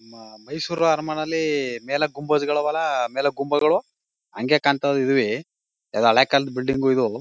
ಮ ಮೈಸೂರ್ ಅರಮನೆಲಿ ಮೇಲೆ ಗುಂಬಸಗಳು ಐವಲ ಮೇಲೆ ಗುಂಬಗಳು. ಅಂಗೇ ಕಾಂತವೇ ಇದವೇ. ಎಲ್ಲಾ ಹಳೇ ಕಾಲದ ಬಿಲ್ಡಿಂಗ್ ಇದು .